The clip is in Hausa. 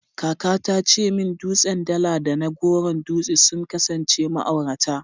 Kaka ta ce min dutsen Dala da na Goron Dutse sun kasance ma'aurata.